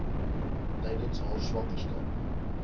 tydens haar swangerskap